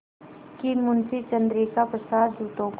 कि मुंशी चंद्रिका प्रसाद जूतों को